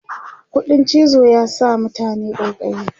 ƙuɗin cizo ya sa mutane ƙaiƙayi